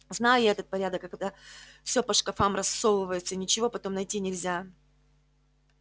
знаю я этот порядок когда все по шкафам рассовывается и ничего потом найти нельзя